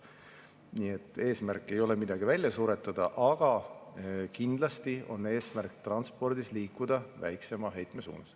Nii et eesmärk ei ole midagi välja suretada, aga kindlasti on eesmärk transpordi valdkonnas liikuda väiksema heite suunas.